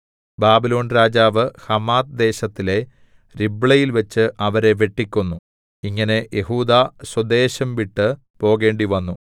ബാബിലോൺരാജാവ് Hamath ദേശത്തിലെ രിബ്ലയിൽവെച്ച് അവരെ വെട്ടിക്കൊന്നു ഇങ്ങനെ യെഹൂദാ സ്വദേശം വിട്ട് പോകേണ്ടിവന്നു